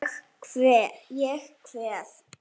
Ég kveð.